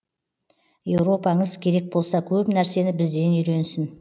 еуропаңыз керек болса көп нәрсені бізден үйренсін